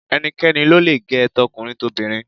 Ẹnikẹ́ni lo le gẹ̀ ẹ́, tọkùnrin tobìnrin.